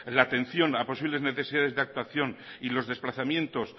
de atención a posibles necesidades de actuación y los desplazamientos